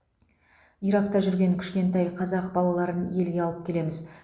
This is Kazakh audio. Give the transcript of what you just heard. иракта жүрген кішкентай қазақ балаларын елге алып келеміз